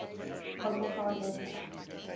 argentine air force